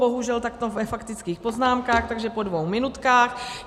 Bohužel takto ve faktických poznámkách, takže po dvou minutkách.